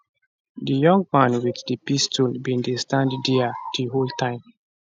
di young man wit di pistol bin dey stand dia di whole time